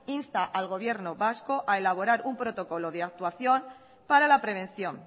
insta al gobierno vasco a elaborar un protocolo de actuación para la prevención